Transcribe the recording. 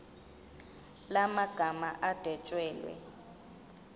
la magama adwetshelwe